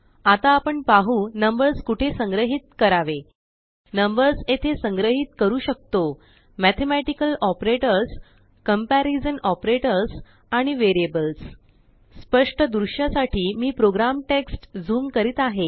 आता आपण पाहू नंबर्सकुठे संग्रहित करावे नंबर्सयेथे संग्रहित करू शकतो मेथेमेटिकलऑपरेटर्स कम्पेरीजनऑपरेटर्स आणि वेरिअबल्स स्पष्ट दृश्यासाठी मी प्रोग्राम टेक्ष्ट झूम करीत आहे